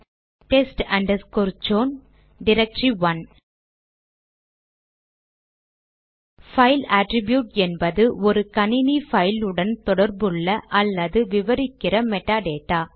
test underscore ச்சோன் directory file attribute என்பது ஒரு கணினி பைல் உடன் தொடர்புள்ள அல்லது விவரிக்கிற மெடா டேட்டா